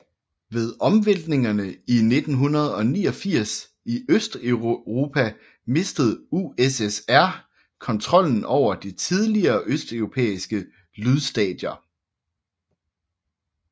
Ved omvæltningerne i 1989 i Østeuropa mistede USSR kontrollen over de tidligere østeuropæiske lydstater